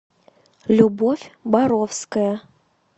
любовь боровская